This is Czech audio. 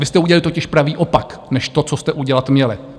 Vy jste udělali totiž pravý opak než to, co jste udělat měli.